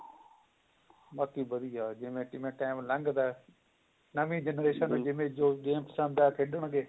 ਬਾਕੀ ਬੜੀ ਜਿਵੇਂ ਜਿਵੇਂ time ਲੰਗਦਾ ਨਵੀ generation ਨੂੰ ਜਿਵੇਂ ਜੋ ਪਸੰਦ ਆਇਆ ਖੇਡਣ ਗੇ